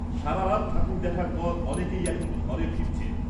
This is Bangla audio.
সারারাত ঠাকুর দেখার পর অনেকেই এখন ঘরে ফিরছেন।